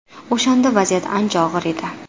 O‘shanda vaziyat ancha og‘ir edi.